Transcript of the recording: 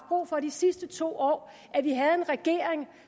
brug for de sidste to år at vi havde en regering